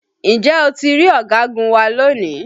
Ǹjẹ́ o ti rí ọ̀gagun wa lónìí?